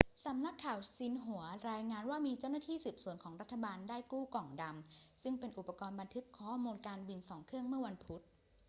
สำนักข่าวซินหัวรายงานว่ามีเจ้าหน้าที่สืบสวนของรัฐบาลได้กู้ กล่องดำ' ซึ่งเป็นอุปกรณ์บันทึกข้อมูลการบิน 2 เครื่องเมื่อวันพุธ